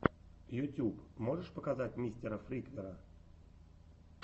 ютьюб можешь показать мистера фриквера